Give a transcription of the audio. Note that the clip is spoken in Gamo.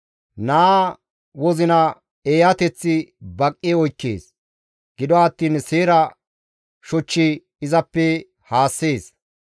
Naa wozina eeyateththi baqqi oykkees; gido attiin seera shoch izappe haassees.